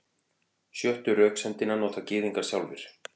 Sjöttu röksemdina nota Gyðingar sjálfir.